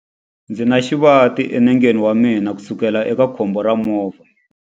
Ndzi na xivati enengeni wa mina kusukela eka khombo ra movha.